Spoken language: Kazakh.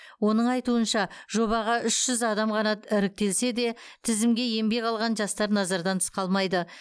оның айтуынша жобаға үш жүз адам ғана іріктелсе де тізімге енбей қалған жастар назардан тыс қалмайды